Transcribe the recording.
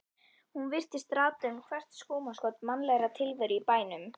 Hún virtist rata um hvert skúmaskot mannlegrar tilveru í bænum.